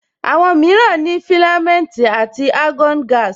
Àwọn mìíràn ní filamenti àti argon gaasi